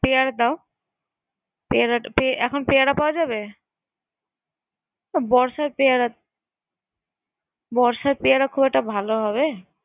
Pair দাও এখন পেয়ার পাওয়া যাবে বর্ষার পেয়ারা বর্ষার পেয়ারা খুব একটা ভালো হবে।